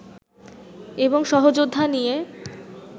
এবং সহযোদ্ধা নিয়ে